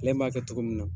Ale b'a kɛ cogo min na